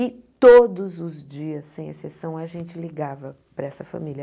E todos os dias, sem exceção, a gente ligava para essa família.